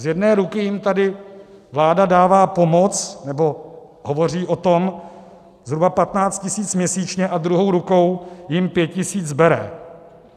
Z jedné ruky jim tady vláda dává pomoc, nebo hovoří o tom, zhruba 15 tisíc měsíčně, a druhou rukou jim 5 tisíc bere.